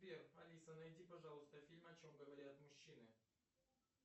сбер алиса найди пожалуйста фильм о чем говорят мужчины